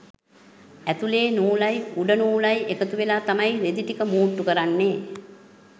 ඇතුළේ නූලයි උඩ නූලයි එකතුවෙලා තමයි රෙදි ටික මූට්ටු කරන්නේ.